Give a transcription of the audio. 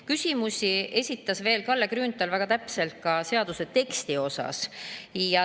Kalle Grünthal esitas veel väga täpseid küsimusi seaduse teksti kohta.